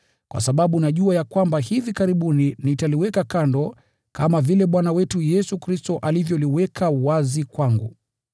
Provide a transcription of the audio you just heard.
kwa sababu najua ya kwamba hivi karibuni nitaliweka kando, kama vile Bwana wetu Yesu Kristo alivyoliweka wazi kwangu.